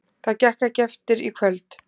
Það gekk ekki eftir í kvöld.